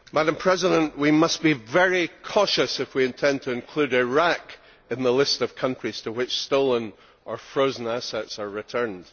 Madam President, we must be very cautious if we intend to include Iraq in the list of countries to which stolen or frozen assets are returned.